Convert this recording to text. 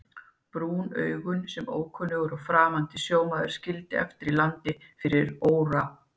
Brúnu augun sem ókunnur og framandi sjómaður skildi eftir í landi fyrir óra